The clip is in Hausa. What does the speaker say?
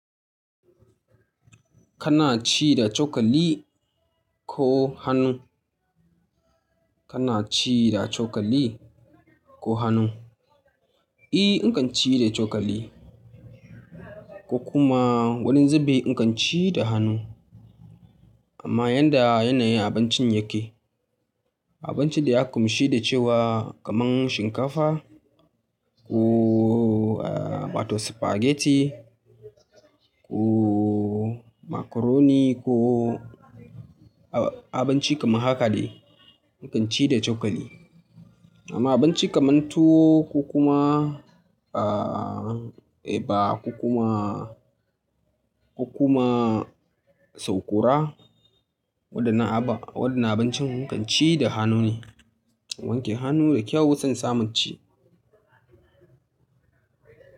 Kana ci da cokali ko hannu? Kana ci da cokali ko hannu? E, in kan ci da cokali ko kuma wani zubin in kan ci da hannu. Amma yanda yanayin abincin yake, abincin da ya ƙunshi da cewa kamar shinkafa ko aa wato spaghetti ko macaroni ko ab-abinci kamar haka de in kan ci da cokali. Amma abinci kaman tuwo ko kuma aa eba ko kuma ko kuma saukora waɗannan aba waɗannan abincin in kan ci da hannu ne. In wanke hannu da kyau sai in samu inci.